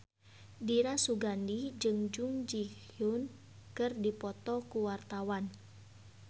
Dira Sugandi jeung Jung Ji Hoon keur dipoto ku wartawan